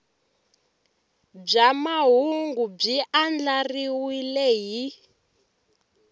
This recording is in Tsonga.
bya mahungu byi andlariwile hi